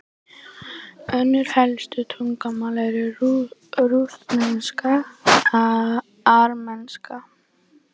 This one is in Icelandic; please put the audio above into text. Önnur helstu tungumál eru rússneska og armenska.